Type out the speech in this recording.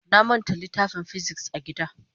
Na manta littafin "physics" a gida.